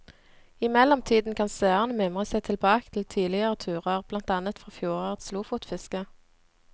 I mellomtiden kan seerne mimre seg tilbake til tidligere turer, blant annet fra fjorårets lofotfiske.